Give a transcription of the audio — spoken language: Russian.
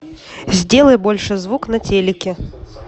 сделай больше звук на телике